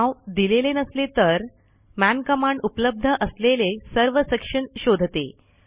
नाव दिलेले नसले तर मन कमांड उपलब्ध असलेले सर्व सेक्शन शोधते